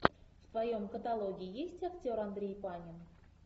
в твоем каталоге есть актер андрей панин